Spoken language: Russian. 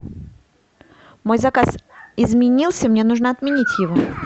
мой заказ изменился мне нужно отменить его